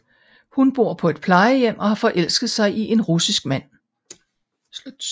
Hun bor på et plejehjem og har forelsket sig i en russisk mand